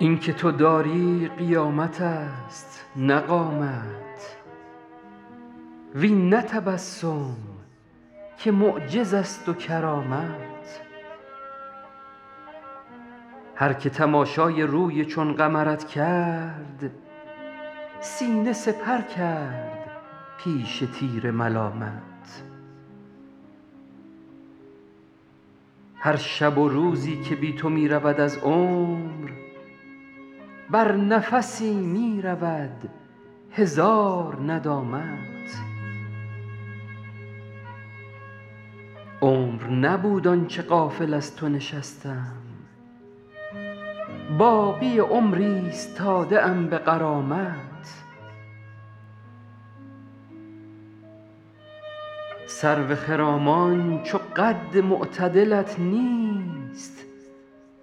این که تو داری قیامت است نه قامت وین نه تبسم که معجز است و کرامت هر که تماشای روی چون قمرت کرد سینه سپر کرد پیش تیر ملامت هر شب و روزی که بی تو می رود از عمر بر نفسی می رود هزار ندامت عمر نبود آن چه غافل از تو نشستم باقی عمر ایستاده ام به غرامت سرو خرامان چو قد معتدلت نیست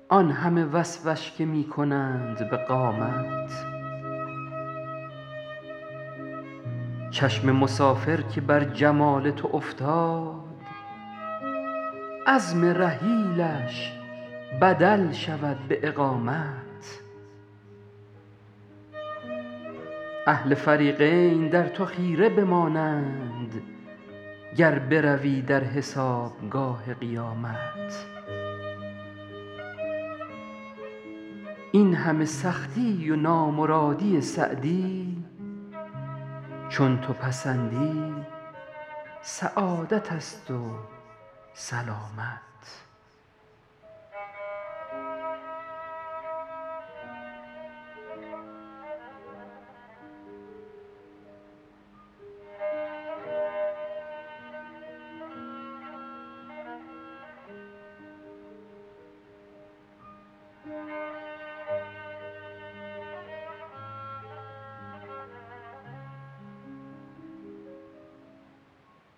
آن همه وصفش که می کنند به قامت چشم مسافر که بر جمال تو افتاد عزم رحیلش بدل شود به اقامت اهل فریقین در تو خیره بمانند گر بروی در حسابگاه قیامت این همه سختی و نامرادی سعدی چون تو پسندی سعادت است و سلامت